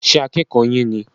Ṣé akẹ́kọ̀ yín ní?